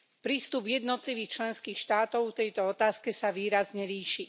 Prístup jednotlivých členských štátov k tejto otázke sa výrazne líši.